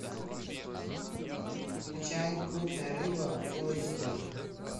включай крупная рыба фул эйч ди